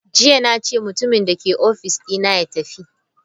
Jiya nace mutumin dake office dina ya tafi!